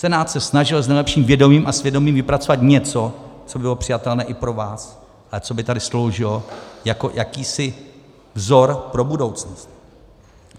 Senát se snažil s nejlepším vědomím a svědomím vypracovat něco, co by bylo přijatelné i pro vás a co by tady sloužilo jako jakýsi vzor pro budoucnost.